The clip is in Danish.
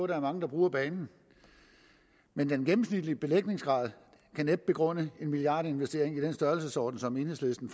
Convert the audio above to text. der er mange der bruger banen men den gennemsnitlige belægningsgrad kan næppe begrunde en milliardinvestering i den størrelsesorden som enhedslisten